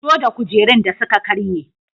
Fito da kujerun da suka karye.